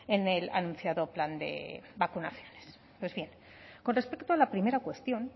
en el anunciado plan de vacunaciones pues bien con respecto a la primera cuestión